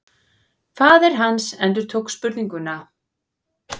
Faðir hans endurtók spurninguna.